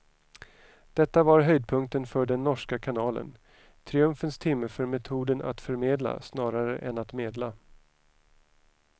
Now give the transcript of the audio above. Detta var höjdpunkten för den norska kanalen, triumfens timme för metoden att förmedla snarare än att medla.